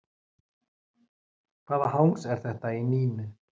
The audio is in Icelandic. Hvaða hangs er þetta í Nínu?